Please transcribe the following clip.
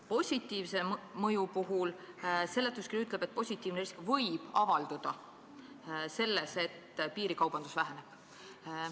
Positiivse mõju kohta ütleb seletuskiri, et see võib avalduda selles, et piirikaubandus väheneb.